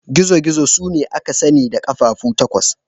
Gizo-gizo sune da aka sani da ƙafafu takwas.